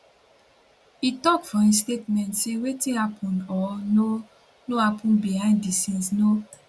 e tok for im statement say wetin happun or no no happun behind di scenes no